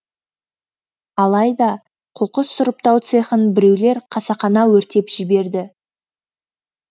алайда қоқыс сұрыптау цехын біреулер қасақана өртеп жіберді